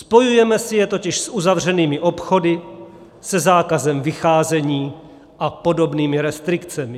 Spojujeme si je totiž s uzavřenými obchody, se zákazem vycházení a podobnými restrikcemi.